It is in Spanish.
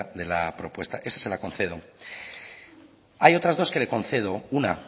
de la propuesta esa se la concedo hay otras dos que le concedo una